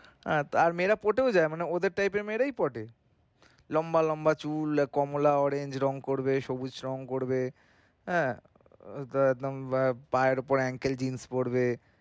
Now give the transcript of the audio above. আর আর মেয়েরা পটেও যায় মানে ওদের type এর মেয়েরা পটে। লম্বা লম্বা চুল কমলা রঙ করবে সবুজ রঙ করবে হ্যাঁ বা পায়ের উপর uncle jeans পরবে হ্যাঁ